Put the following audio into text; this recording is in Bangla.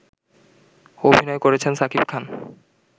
অভিনয় করেছেন শাকিব খান